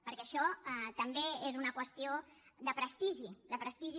perquè això també és una qüestió de prestigi de prestigi